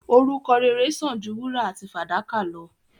Orúkọ rere sán àn ju wúrà àti fàdákà lọ.